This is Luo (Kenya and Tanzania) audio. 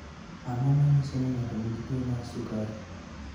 Ang�o ma nyiso ni ng�ato nigi tuo mar sukari?